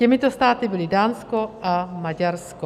Těmito státy byly Dánsko a Maďarsko.